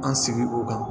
An sigi o kan